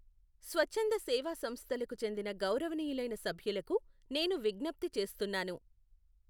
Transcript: స్వచ్ఛంద సేవా సంస్థలకు చెందిన గౌరవనీయులైన సభ్యులకు నేను విజ్ఙప్తి చేస్తున్నాను.